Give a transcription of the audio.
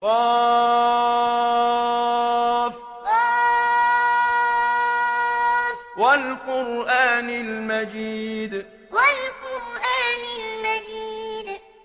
ق ۚ وَالْقُرْآنِ الْمَجِيدِ ق ۚ وَالْقُرْآنِ الْمَجِيدِ